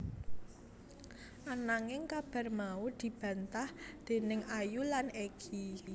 Ananging kabar mau dibantah déning Ayu lan Egy